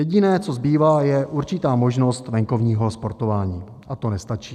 Jediné, co zbývá, je určitá možnost venkovního sportování, a to nestačí.